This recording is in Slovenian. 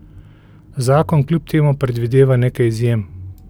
Zakon kljub temu predvideva nekaj izjem.